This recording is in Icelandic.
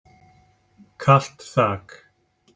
Kalt þak.